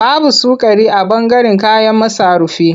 Babu sukari a ɓangaren kayan masarufi.